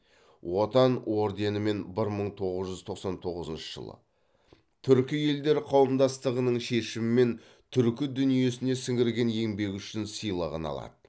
отан орденімен бір мың тоғыз жүз тоқсан тоғызыншы жылы түркі елдері қауымдастығының шешімімен түркі дүниесіне сіңірген еңбегі үшін сыйлығын алады